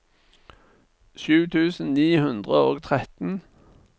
sju tusen ni hundre og tretten